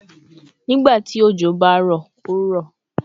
Nigbati ojo ba ro, o ro